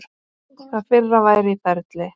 Það fyrra væri í ferli.